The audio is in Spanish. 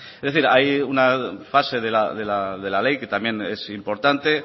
es decir hay una fase de la ley que también es importante